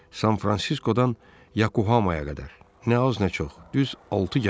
San-Fransiskodan Yakohamaya qədər, nə az, nə çox, düz altı gəmim var.